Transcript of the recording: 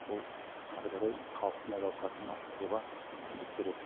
ол ары қарай халықтың әл ауқатын арттыруға мүмкіндік береді